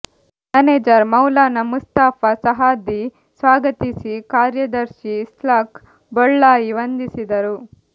manager Maulana Mustafa Saadi ಸ್ವಾಗತಿಸಿ ಕಾರ್ಯದರ್ಶಿ ಇಸ್ಹಾಕ್ ಬೊಳ್ಳಾಯಿ ವಂದಿಸಿದರು